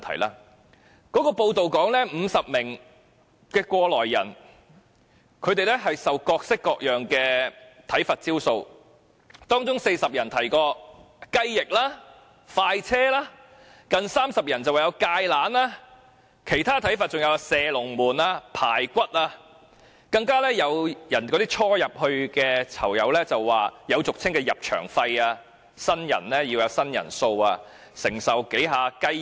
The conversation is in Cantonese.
根據有關報道指，有50名過來人受到各式各樣的體罰招數，當中有40人提到"雞翼"、"快車"；有近30人是"芥蘭"；其他體罰還有"射龍門"、"排骨"，更有初入監獄的囚友提到有俗稱的"入場費"，新人要有"新人數"，要承受數次"雞翼"。